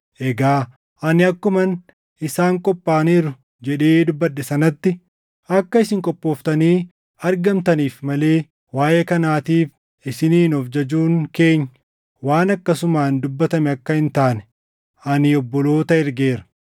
Egaa ani akkuman “Isaan qophaaʼaniiru” jedhee dubbadhe sanatti, akka isin qophooftanii argamtaniif malee waaʼee kanaatiif isiniin of jajuun keenya waan akkasumaan dubbatame akka hin taane ani obboloota ergeera.